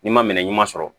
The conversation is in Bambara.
N'i ma minɛ ɲuman sɔrɔ